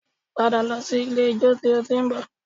Padà lọ sí ilé-ijó tí o ti ń bọ̀